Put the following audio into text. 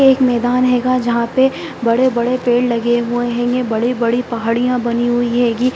एक मैदान हैगा जहाँ पे बड़े-बड़े पेड़ लगे हुए हैंगे बड़ी-बड़ी पहाड़ियाँ बनी हुई हैगी।